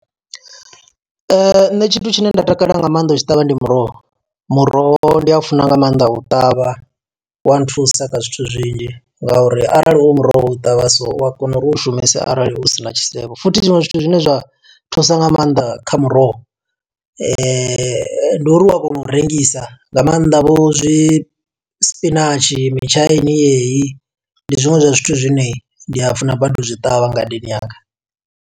Nṋe tshithu tshine nda takalela nga maanḓa u tshi ṱavha, ndi muroho. Muroho ndi a funa nga maanḓa u ṱavha, u wa nthusa kha zwithu zwinzhi, ngauri arali u muroho wo u ṱavha so, u a kona uri u u shumise arali u sina tshisevho. Futhi zwiṅwe zwithu zwine zwa zwa thusa nga maanḓa kha muroho, ndi uri u a kona u rengisa nga maanḓa vho zwi sipinatshi, mitshaini yeyi. Ndi zwiṅwe zwa zwithu zwine ndi a funa badi u zwi ṱavha ngadeni yanga.